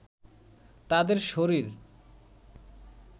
তাদের শরীর